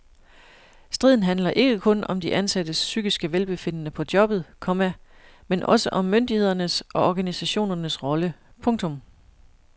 Striden handler ikke kun om de ansattes psykiske velbefindende på jobbet, komma men også om myndighedernes og organisationernes rolle. punktum